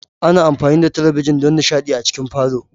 Ana amfani da talabijin don nishaɗi a cikin falo.